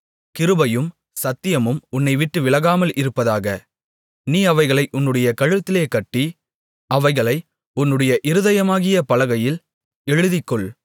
கிருபையும் சத்தியமும் உன்னைவிட்டு விலகாமல் இருப்பதாக நீ அவைகளை உன்னுடைய கழுத்திலே கட்டி அவைகளை உன்னுடைய இருதயமாகிய பலகையில் எழுதிக்கொள்